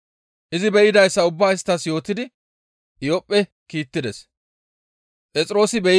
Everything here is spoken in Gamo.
izi be7idayssa ubbaa isttas yootidi Iyophphe kiittides.